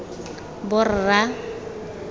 borra